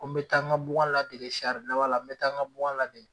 Ko n be taa n ka bugan ladege sari dala n be taa n ka bugan ladege